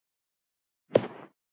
Þín, Snædís Mjöll.